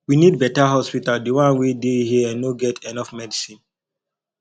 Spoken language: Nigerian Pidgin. we need beta hospital di one wey dey here no get enough medicine